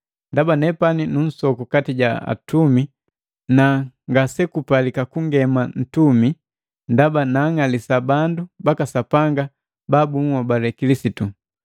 Ndaba nepani nunsoku kati ja atumi na ngasembalika kungema nuntumi, ndaba naang'alisa bandu baka Sapanga ba bunhobale Kilisitu.